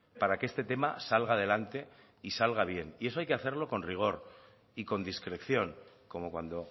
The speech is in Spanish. para que este tema salga adelante y salga bien y eso hay que hacerlo con rigor y con discreción como cuando